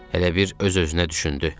Elə bil öz-özünə düşündü: